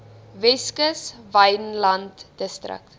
weskus wynland distrik